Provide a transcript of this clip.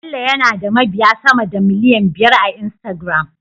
Bello yana da mabiya sama da miliyan biyar a Instagram